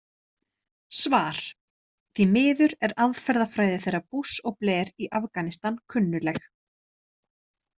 Svar: Því miður er aðferðafræði þeirra Bush og Blair í Afganistan kunnugleg.